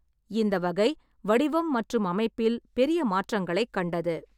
இந்த வகை வடிவம் மற்றும் அமைப்பில் பெரிய மாற்றங்களைக் கண்டது.